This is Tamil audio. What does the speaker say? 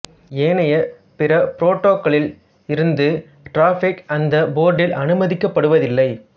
ஏனைய பிற புரோட்டோக்கால்களில் இருந்து டிராபிக் அந்த போர்ட்டில் அனுமதிக்கப்படுவதில்லை